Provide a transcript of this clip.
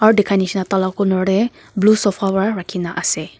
aru dikhai nisna tah lah corner teh blue sofa para rakhi na ase.